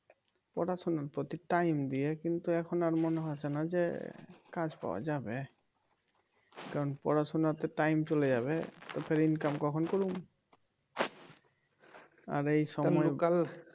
পড়াশোনার প্রতি time দিয়ে কিন্তু এখন আর মনে হইছেনা যে কাজ পাওয়া যাবে কারণ পড়াশোনাতে time চলে যাবে তো ফির income কখন করুম? আর এই সময়কাল